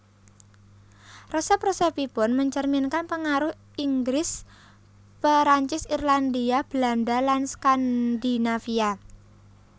Resep resepipun mencerminkan pengaruh Inggris Perancis Irlandia Belanda lan Skandinavia